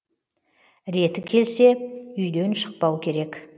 реті келсе үи ден шықпау керек